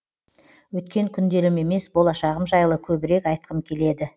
өткен күндерім емес болашағым жайлы көбірек айтқым келеді